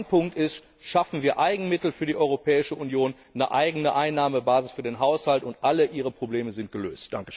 Mein Punkt ist Schaffen wir Eigenmittel für die Europäische Union, eine eigene Einnahmebasis für den Haushalt, und alle Ihre Probleme sind gelöst.